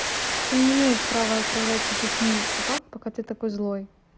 ты не имеешь права отправлять таких милых собак пока ты такой злой